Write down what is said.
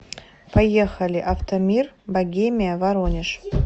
поехали автомир богемия воронеж